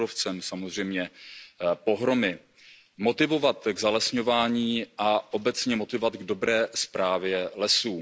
s kůrovcem, samozřejmě pohromy, motivovat k zalesňování a obecně motivovat k dobré správě lesů.